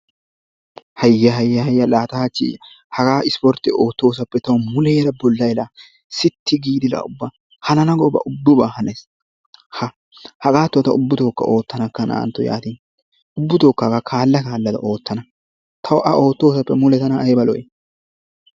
Hayya hayya laa ta hachchi haagaa ispportte oottoosappe ta muleera bollay laa sitti giidi laa ubba hanana goobaa ubaba hanees. Ha hagatto taa ubbutookka oottanakka, na''antto yaatin ubbuttookka hagaa kaalla kallada oottana, tawu a oottosappe tana ayba lo'ii.